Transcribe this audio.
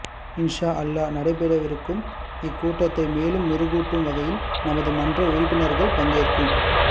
இன்ஷாஅல்லாஹ் நடைபெறவிருக்கும் இக்கூட்டத்தை மேலும் மெருகூட்டும் வகையில் நமது மன்ற உறுப்பினர்கள் பங்கேற்கும்